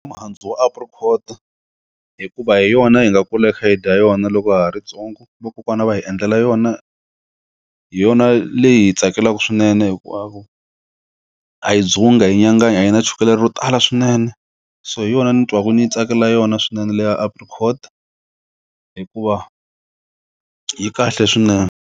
Mihandzu Apricot hikuva hi yona hi nga kula hi kha hi dya yona loko ha ri ntsongo vakokwana va hi endlela yona hi yona leyi hi tsakelaka swinene hinkwavo a yi dzungi a yi nyanganyi a yi na chukele ro tala swinene so hi yona ni twaku ni tsakela yona swinene le ya Apricot hikuva yi kahle swinene.